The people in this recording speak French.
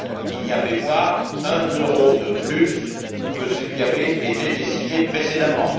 Il n'y avait pas un euro de plus que ce qui avait été décidé précédemment.